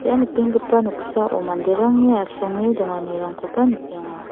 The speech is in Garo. ia nikenggipa noksao manderangni asonge donganirangkoba nikenga.